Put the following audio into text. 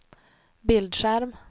bildskärm